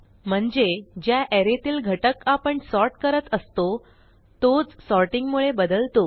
म्हणजे ज्या अरे तील घटक आपण सॉर्ट करत असतो तोच सॉर्टिंग मुळे बदलतो